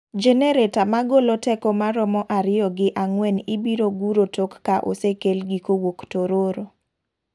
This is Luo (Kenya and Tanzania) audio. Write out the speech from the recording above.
Genereta magolo teko maromo ariyo gi angwen ibiro guro tok ka osekel gi kowuok Tororo.